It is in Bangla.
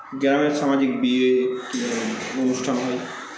গ্রামের সামাজিক বিয়ে কী ধরনের অনুষ্ঠান হয়